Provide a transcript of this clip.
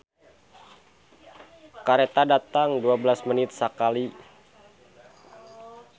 "Kareta datang dua belas menit sakali"